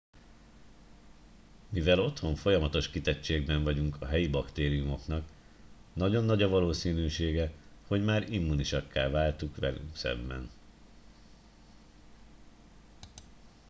mivel otthon folyamatos kitettségben vagyunk a helyi baktériumoknak nagyon nagy a valószínűsége hogy már immúnisakká váltunk velük szemben